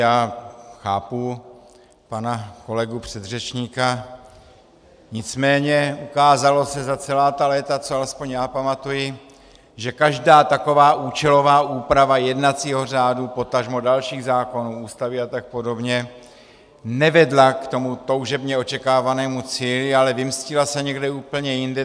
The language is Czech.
Já chápu pana kolegu předřečníka, nicméně ukázalo se za celá ta léta, co alespoň já pamatuji, že každá taková účelová úprava jednacího řádu, potažmo dalších zákonů, Ústavy a tak podobně, nevedla k tomu toužebně očekávanému cíli, ale vymstila se někde úplně jinde.